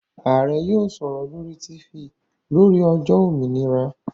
Ààrẹ́ yóò sọ̀rọ̀ lórí Tifì lórí ọjọ́ òmìnira